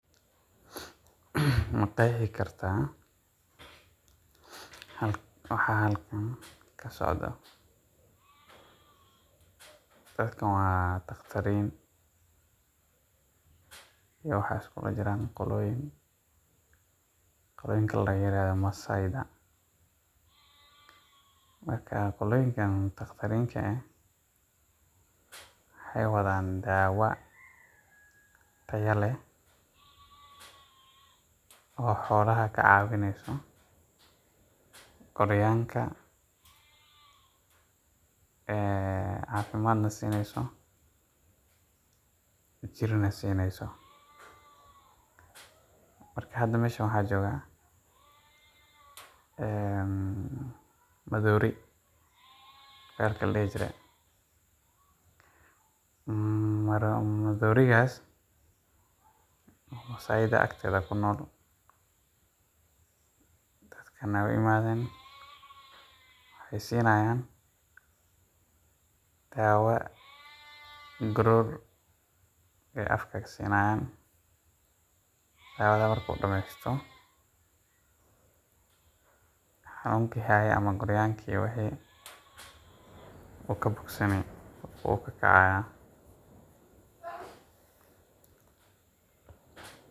Ma qeexi kartaa waxa halkaan ka socdo? Dadkaan waa doctoriin iyo qolada la yiraahdo Masaai’dha. Qoloyinka doctorirta waxay wadaan daawo tayo leh oo xayawaanka ka caawinayso korniinka, caafimaadka iyo jirnaa siynayso. Marka hadda meesha maxaa jooga? Maroodi. Maroodigaas oo Masaai’da agtooda ku nool, dadkana way u yimaadeen. Waxayna siinayaan daawo. Garoor ayay afka ka siinayaan. Dawada markuu dhammeeyo, xanuunkii hayay wuu ka bogsanayaa, wuu ka kacayaa.